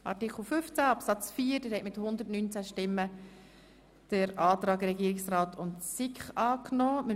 Der Grosse Rat hat dem Antrag SiK und Regierungsrat zu Artikel 15 Absatz 4 den Vorzug gegeben.